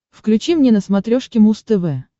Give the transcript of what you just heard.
включи мне на смотрешке муз тв